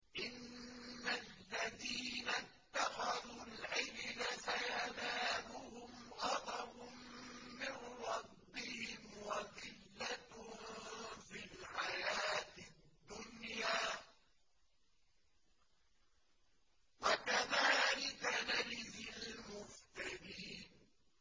إِنَّ الَّذِينَ اتَّخَذُوا الْعِجْلَ سَيَنَالُهُمْ غَضَبٌ مِّن رَّبِّهِمْ وَذِلَّةٌ فِي الْحَيَاةِ الدُّنْيَا ۚ وَكَذَٰلِكَ نَجْزِي الْمُفْتَرِينَ